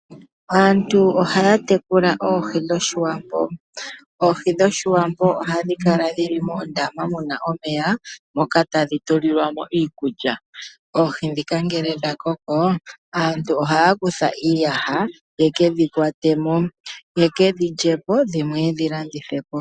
Aantu ohaya tekula oohi dhOshiwambo, oohi dhoshiwambo ohadhi kala dhi li moondama mu na omeya moka hadhi kala tadhi tulilwa mo iikulya, oohi ndhika ngele dha koko aantu ohaya kutha iiyaha yeke dhi kwate mo, ye kedhi lye po dho dhimwe ye kedhi landithe po.